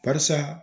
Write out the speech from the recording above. Karisa